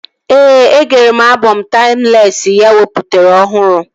Ee, e gere m abọm taimlesị ya o wepụtara ọhụrụ